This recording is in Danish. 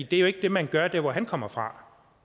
det er jo ikke det man gør der hvor han kommer fra